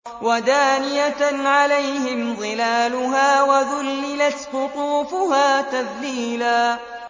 وَدَانِيَةً عَلَيْهِمْ ظِلَالُهَا وَذُلِّلَتْ قُطُوفُهَا تَذْلِيلًا